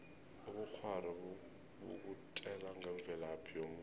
ubukghwari bukutjela ngemvelaphi yomuntu